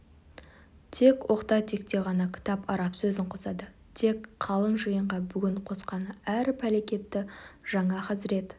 тек оқта-текте ғана кітап араб сөзін қосады тек қалың жиынға бүгін қосқаны әр пәлекетті жаңа хазірет